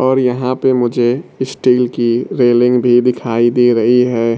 और यहां पे मुझे स्टील की रेलिंग भी दिखाई दे रही है